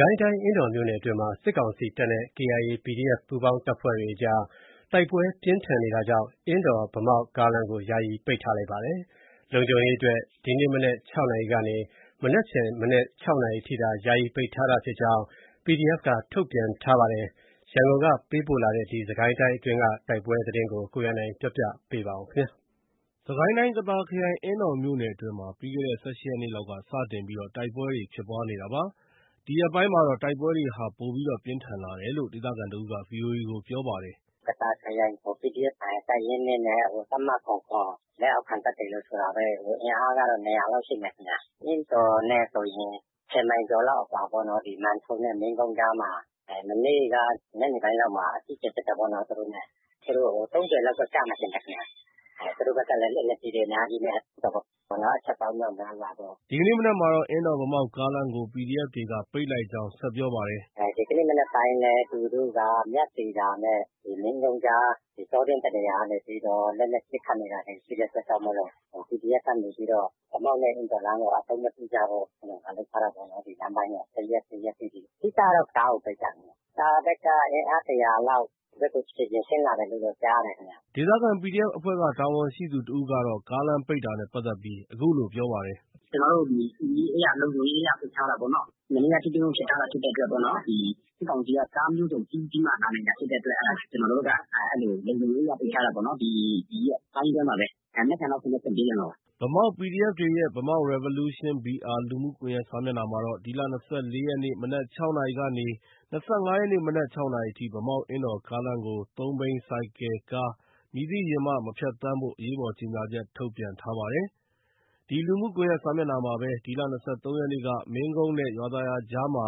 ကိုင်းတိုင်း အင်းတော်မြို့နယ်အတွင်းမှာ စစ်ကောင်စီတပ်နဲ့ KIA၊ PDF ပူးပေါင်းတပ်တွေအကြားတိုက်ပွဲ ပြင်းထန်နေတာကြောင့် အင်းတော်- ဗန်းမောက်ကားလမ်းကို ယာယီပိတ်ထားလိုက်ပါတယ်။ လုံခြုံရေးအတွက် ဒီကနေ့ မနက် ၆ နာရီကနေ မနက်ဖန် မနက် ၆ နာရီအထိသာ ပိတ်ထားတာ ဖြစ်ကြောင်း PDFက ထုတ်ပြန်ထားပါတယ်။ ရန်ကုန်က ပေးပို့လာတဲ့ စစ်ကိုင်းတိုင်းအတွင်းက တိုက်ပွဲသတင်းကို ကိုရန်နိုင်က တင်ပြပေးထားပါတယ်။ စစ်ကိုင်းတိုင်း ကသာခရိုင် အင်းတော်မြို့နယ်အတွင်းမှာ ပြီးခဲ့တဲ့ ၁၈ ရက်နေ့လောက် စတင်ပြီး တိုက်ပွဲတွေ ဖြစ်ပွားနေတာပါ။ ဒီရက်ပိုင်းမှာတော့ တိုက်ပွဲဟာ ပိုပြင်းထန်လာတယ်လို့ ဒေသခံတဦးက VOA ကို ပြောပါတယ်။ “ကသာခရိုင် PDF တပ်ရင်း ၂ နဲ့ တပ်မ ၇၇ လက်အောက်ခံတပ်တွေလို့ ဆိုတာပဲ။ အင်အားကတော့ ၂၀၀ လောက်ရှိမယ်ခင်ဗျ။ အင်းတော်နဲ့ဆိုရင် ၁၀ မိုင်လောက်အကွာပေါ့နော်။ ဒီ မံထုံနဲ့ မင်းကုန်းကြားမှာ။ မနေ့က ညနေပိုင်းမှာ အကြီးအကျယ်ဖြစ်တာပေါ့နော်။ သူတို့နဲ့။ သူတို့ ၃၀ လောက်တော့ ကျမယ်ထင်တယ်ခင်ဗျ။ သူတို့ဘက်က လက်နက်ကြီးတွေအများကြီးနဲ့ ပစ်တာပေါ့နော်။ အချက်ပေါင်း မြောက်မြားစွာပေါ့။” ဒီကနေ့မနက်မှာတော့ အင်းတော်- ဗန်းမောက်ကားလမ်းကို PDF တွေက ပိတ်လိုက်ကြောင်း ဆက်ပြော ပါတယ်။ “ ဒီကနေ့ မနက်ပိုင်းလည်း သူတို့က မြသီတာနဲ့ မင်းကုန်းကြား တောတွင်း တနေရာက လက်နက်ကြီးတွေနဲ့ ပစ်ခတ်နေတာတွေ ရှိတဲ့အတွက်ကြောင့် PDF ကနေပြီးတော့ ဗန်းမောက်နဲ့ အင်းတော်လမ်းကို အသုံးမပြုကြဖို့ လုပ်ထားတာပေါ့နော်။ တစ်ရက်တိတိ။ အဓိကကတော့ ကားကို ပိတ်တာခင်ဗျ။ ” ဒေသခံ PDF အဖွဲ့က တာဝန်ရှိသူတဦးကတော့ ကားလမ်းပိတ်တာနဲ့ပတ်သက်ပြီး အခုလို ပြောပါတယ်။ “ကျနော်တို့ ဒီ စစ်ရေးအရ လုံခြုံရေးအရ ပိတ်ထားတာပေါ့နော။ မနေ့က ထိတွေ့မှုဖြစ်ထားတာဖြစ်တဲ့အတွက် ဒီ စစ်ကောင်စီက ကားမျိုးစုံစီးပြီးမှ လာနိုင်တာ ဖြစ်တဲ့အတွက် အဲဒါ ကျနော်တို့က လုံခြုံရေးအရ ပိတ်ထားတာပေါ့နော်။ ဒီရက်ပိုင်းအတွင်းပါပဲ။ မနက်ဖန်ဆိုရင်တော့ဖွင့်ပေးခဲ့မှာပါ။ ” ဗန်းမောက် PDF တွေရဲ့ Bamauk Revolution BR လူမှုကွန်ရက်စာမျက်နှာမှာတော့ ဒီလ၂၄ ရက်နေ့ မနက် ၆ နာရီကနေ ၂၅ ရက်နေ့ မနက် ၆ နာရီအထိ ဗန်းမောက်- အင်းတော်ကားလမ်းကို သုံးဘီး၊ ဆိုင်ကယ်၊ကား မည်သည့်ယာဉ်မှမှ မဖြတ်သန်းဖို့ အရေးပေါ်ကြေညာချက် ထုတ်ပြန်ထားပါတယ်။ ဒီ လူမှုကွန်ရက်စာမျက်နှာမှာပဲ ဒီလ ၂၃ ရက်နေ့က မင်းကုန်းနဲ့ ရွာသာယာကြားမှာ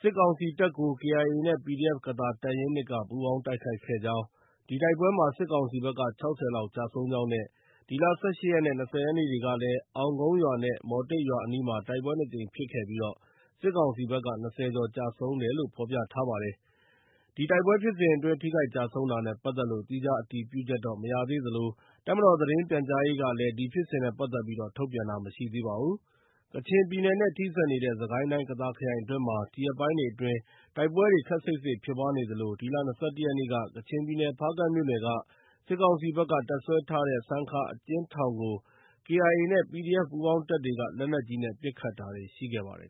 စစ်ကောင်စီတပ်ကို KIA နဲ့ PDF ကသာ တပ်ရင်း ၂ က ပူးပေါင်းတိုက်ခိုက်ခဲ့ကြောင်း၊ ဒီတိုက်ပွဲမှာ စစ်ကောင်စီဘက်က ၆၀ လောက် ကျဆုံးကြောင်းနဲ့ ဒီလ ၁၈ ရက်နဲ့ ၂၀ ရက်နေ့တွေကလည်း အောင်းကုန်းရွာနဲ့ မော်တိတ်ရွာအနီးမှာ တိုက်ပွဲ ၂ ကြိမ်ဖြစ်ခဲ့ပြီး စစ်ကောင်စီဘက်က ၂၀ ကျော်ကျဆုံး ဖော်ပြထားပါတယ်။ ဒီတိုက်ပွဲဖြစ်စဉ်အတွင်း ထိခိုက်ကျဆုံးတာနဲ့ပတ်သက်လို့ သီးခြားအတည်ပြုချက်တော့ မရသေးသလို တပ်မတော်သတင်းပြန်ကြားရေးကလည်း ဒီဖြစ်စဉ်နဲ့ ပတ်သက်ပြီး ထုတ်ပြန်တာမရှိသေးပါဘူး။ ကချင်ပြည်နယ်နဲ့ ထိစပ်နေတဲ့ စစ်ကိုင်းတိုင်း ကသာခရိုင်အတွင်းမှာ ဒီရက်ပိုင်းတွေအတွင်းတိုက်ပွဲတွေ ခပ်စိပ်စိပ်ဖြစ်ပွားနေသလို ဒီလ ၂၁ ရက်နေ့က ကချင်ပြည်နယ် ဖားကန့်မြို့နယ်က စစ်ကောင်စီဘက်က တပ်စွဲထားတဲ့ ဆန်ခါအကျဉ်းထောင်ကို KIA နဲ့ PDF ပူးပေါင်းတပ်တွေက လက်နက်ကြီးနဲ့ ပစ်ခတ်တာတွေ ရှိခဲ့ပါတယ်